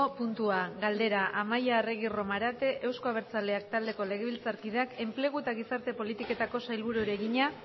puntua galdera amaia arregi romarate euzko abertzaleak taldeko legebiltzarkideak enplegu eta gizarte politiketako sailburuari egina